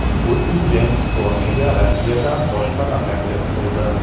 Putin Jeyms Komiga Rossiyadan boshpana taklif qildi.